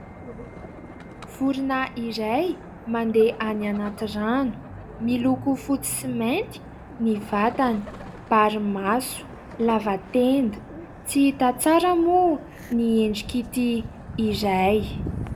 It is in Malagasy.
Vorona iray mandeha any anaty rano, miloko fotsy sy mainty ny vatany, bary maso, lava tenda. Tsy hita tsara moa ny endrik'ity iray.